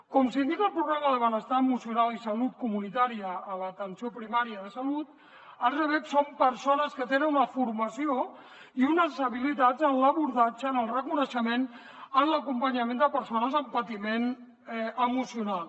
com s’indica al programa de benestar emocional i salut comunitària a l’atenció primària de salut els rbec són persones que tenen una formació i unes habilitats en l’abordatge en el reconeixement en l’acompanyament de persones amb patiment emocional